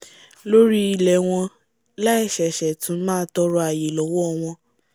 lórí ilẹ̀ ẹ wọn láì ṣẹ̀ṣẹ̀ tú máà tọọrọ àyè lọ́wọ́ ọ wọn